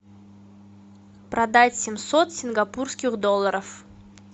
продать семьсот сингапурских долларов